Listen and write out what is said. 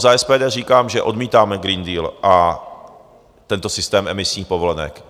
Za SPD říkám, že odmítáme Green Deal a tento systém emisních povolenek.